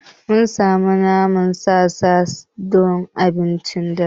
Mun sami naman sa sa don abincin dare.